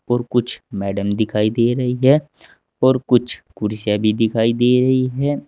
और कुछ मैडम दिखाई दे रही है और कुछ कुर्सियां भी दिखाई दे रही है।